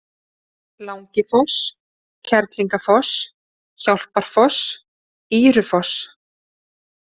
Langifoss, Kerlingafoss, Hjálparfoss, Ýrufoss